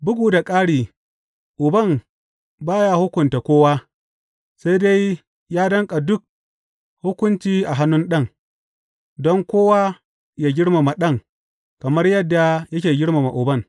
Bugu da ƙari, Uban ba ya hukunta kowa, sai dai ya danƙa dukan hukunci a hannun Ɗan, don kowa yă girmama Ɗan kamar yadda yake girmama Uban.